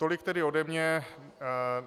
Tolik tedy ode mě.